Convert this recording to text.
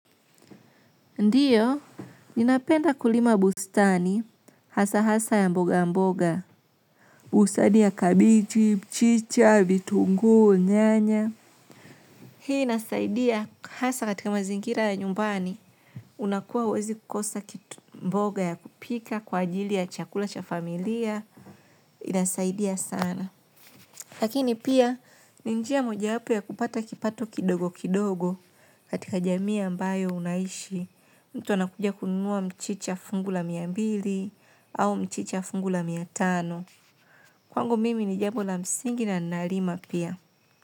Ndiyo, ninapenda kulima bustani, hasa hasa ya mboga mboga. Bustani ya kabiji, mchicha, vitunguu, nyanya. Hii inasaidia hasa katika mazingira ya nyumbani. Unakuwa uwezi kukosa kitu mboga ya kupika kwa ajili ya chakula cha familia. Inasaidia sana. Lakini pia, ni njia moja wapo ya kupata kipato kidogo kidogo katika jamii ambayo unaishi. Mtu anakuja kununua mchicha fungu a mia mbili au mchicha fungu la mia tano. Kwangu mimi ni jambo la msingi na nalima pia.